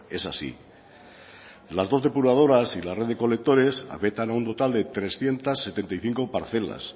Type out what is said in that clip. es así las dos depuradoras y la red de recolectores afectan a un total de trescientos setenta y cinco parcelas